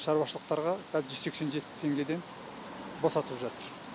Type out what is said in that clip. шаруашылықтарға қазір жүз сексен жеті теңгеден босатып жатыр